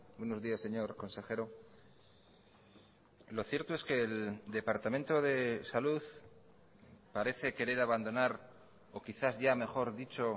buenos días señor consejero lo cierto es que el departamento de salud parece querer abandonar o quizás ya mejor dicho